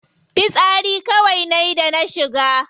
Fitsari kawai nayi da na shiga.